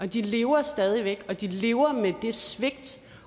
de lever stadig væk og de lever med det svigt